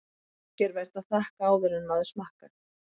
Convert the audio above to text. Ekki er vert að þakka áður en maður smakkar.